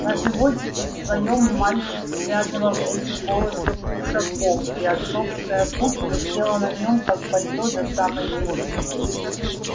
на животике своём мальчик связывал эти полосы кушаком и отцовская куртка села на нём как пальто до самой земли